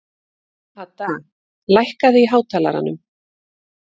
Hadda, lækkaðu í hátalaranum.